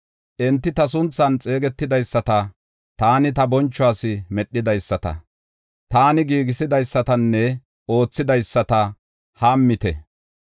Enti ta sunthan xeegetidaysata, taani ta bonchuwas medhidaysata, taani giigisidaysatanne oothidaysata hammite.”